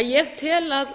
að ég tel að